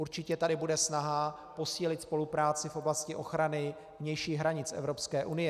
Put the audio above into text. Určitě tady bude snaha posílit spolupráci v oblasti ochrany vnějších hranic Evropské unie.